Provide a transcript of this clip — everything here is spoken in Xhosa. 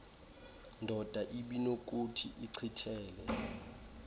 ndoda ibinokuthi ichithele